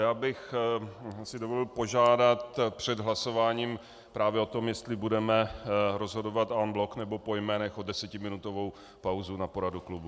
Já bych si dovolil požádat před hlasováním právě o tom, jestli budeme rozhodovat en bloc, nebo po jménech, o desetiminutovou pauzu na poradu klubu.